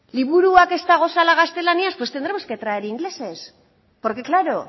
liburuak ez daudela gaztelaniaz pues tendremos que traer ingleses porque claro